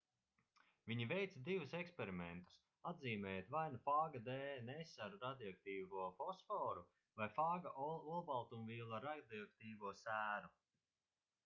viņi veica divus eksperimentus atzīmējot vai nu fāga dns ar radioaktīvo fosforu vai fāga olbaltumvielu ar radioaktīvo sēru